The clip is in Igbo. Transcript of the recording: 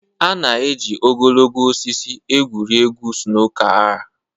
A na-eji ogologo osisi egwuri egwu snooker er